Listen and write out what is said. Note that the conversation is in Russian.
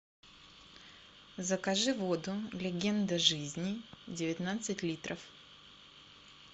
закажи воду легенда жизни девятнадцать литров